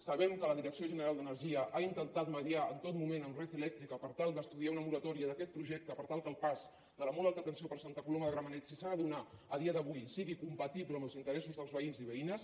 sabem que la direcció general d’energia ha intentat mitjançar en tot moment amb red eléctrica per tal d’estudiar una moratòria d’aquest projecte per tal que el pas de la molt alta tensió per santa coloma de gramenet si s’ha de donar a dia d’avui sigui compatible amb els interessos dels veïns i veïnes